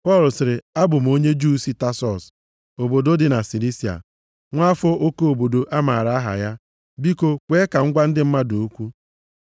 Pọl sịrị, “Abụ m onye Juu si Tasọs, obodo dị na Silisia, nwa afọ oke obodo amara aha ya. Biko, kwee ka m gwa ndị mmadụ okwu.”